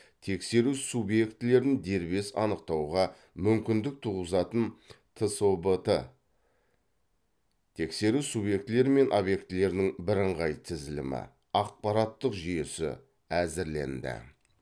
тексеру субъектілерін дербес анықтауға мүмкіндік туғызатын тсобт тексеру субъектілері мен объектілерінің бірыңғай тізілімі ақпараттық жүйесі әзірленді